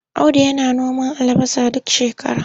Audu yana noman albasa duk shakara.